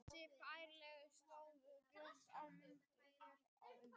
Þessi færsla sést glöggt á myndinni hér á undan.